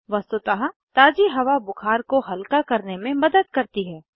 वस्तुतः ताज़ी हवा बुखार को हल्का करने में मदद करती है